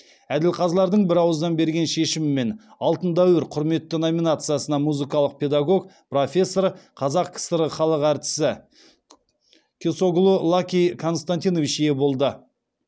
әділқазылардың бірауыздан берген шешімімен алтын дәуір құрметті номинациясына музыкалық педагог профессор қазақ кср халық әртісі кесоглу лаки константинович ие болды